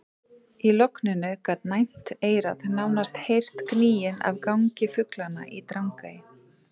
Í logninu gat næmt eyra nánast heyrt gnýinn af gargi fuglanna í Drangey.